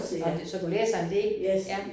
Nåh det så du læser en del. Ja